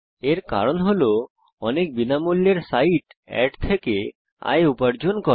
এর কারণ হল অনেক বিনামূল্যের সাইট অ্যাড থেকে আয় উপার্জন করে